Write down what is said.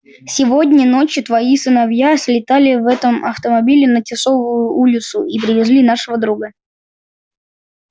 сегодня ночью твои сыновья слетали в этом автомобиле на тисовую улицу и привезли нашего друга